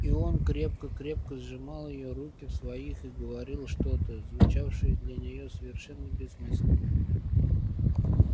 и он крепко-крепко сжимал её руки в своих и говорил что-то звучавшее для неё совершенно бессмысленно